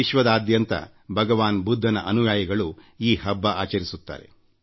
ವಿಶ್ವದಾದ್ಯಂತ ಭಗವಾನ್ ಬುದ್ಧನ ಅನುಯಾಯಿಗಳು ಈ ಹಬ್ಬ ಆಚರಿಸುತ್ತಾರೆ